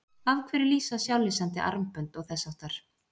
Af hverju lýsa sjálflýsandi armbönd og þess háttar?